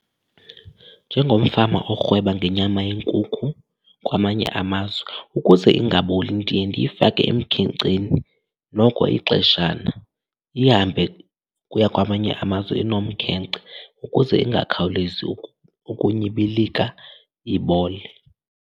Njengomfama orhweba ngenyama yenkukhu kwamanye amazwe, ukuze ingaboli ndiye ndiyifake emkhenkceni noko ixeshana. Ihambe ukuya kwamanye amazwe inomkhenkce ukuze ingakhawulezi ukunyibilika ibole.